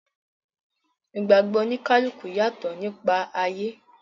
Ìgbàgbọ̀ oníkálùkù yàtọ̀ nípa ayé.